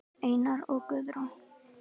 Einar og Guðrún.